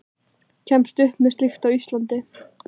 Hver kemst upp með slíkt á Íslandi?